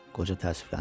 Qoca təəssüfləndi.